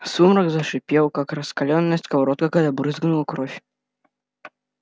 сумрак зашипел как раскалённая сковорода когда брызнула кровь